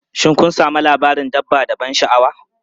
Shin kun sami labarin dabba da ban sha'awa?